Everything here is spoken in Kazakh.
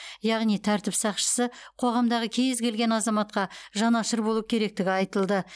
яғни тәртіп сақшысы қоғамдағы кез келген азаматқа жанашыр болу керектігі айтылды